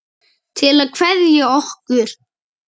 Til að kveðja okkur?